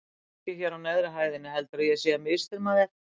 Fólkið hér á neðri hæðinni heldur að ég sé að misþyrma þér